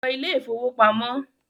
ló Ilé ìfowópamọ́!